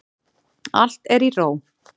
Allt er í ró.